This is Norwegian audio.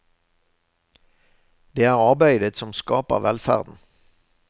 Det er arbeidet som skaper velferden.